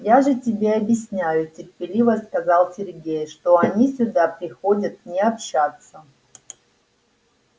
я же тебе объясняю терпеливо сказал сергей что они сюда приходят не общаться